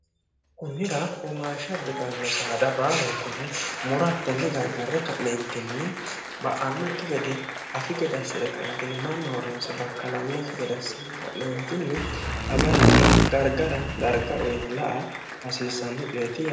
kunnira omaasha bitanno saada baalu kunni murattinni gargarre ka'leentinni ba'annokki gede afi gedassi're kindilimaa nooronse bakkalannoki jedassinne ka'leentinni agaranna gargara garga uyini la a hasiissanno cuyetti